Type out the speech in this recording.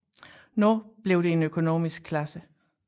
Nu blev det en økonomisk klasse